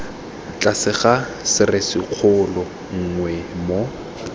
tlase ga serisikgolo nngwe moo